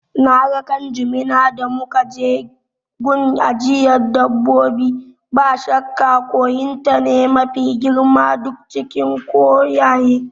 Naga ƙwan jimina da muka je gun ajiyan dabbobi, ba shakka koyin ta ne mafi girma duk cikin koyaye